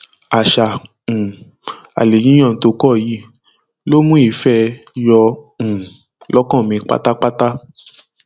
àṣà um alẹ yíyan tó kọ yìí ló mú ìfẹ ẹ yọ um lọkàn mi pátápátá